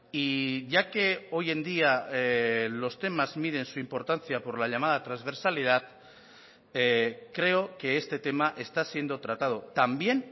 y ya que hoy en día los temas miden su importancia por la llamada transversalidad creo que este tema está siendo tratado también